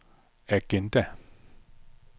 agenda